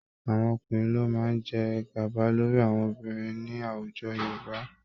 Àwọn ọkúnrin ló máa jẹ gàba lórí àwọn obinrin ní àwùjọ Yorùbá